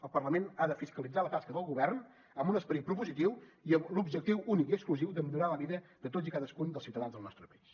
el parlament ha de fiscalitzar la tasca del govern amb un esperit propositiu i amb l’objectiu únic i exclusiu de millorar la vida de tots i cadascun dels ciutadans del nostre país